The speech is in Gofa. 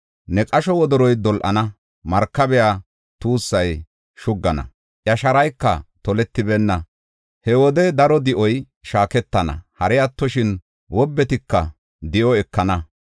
Ne qasho wodoroy dol7ana; markabiya tuussay shuggana; iya sharayka toletibeenna. He wode daro di7o shaaketana; hari attoshin wobbetika di7o ekana.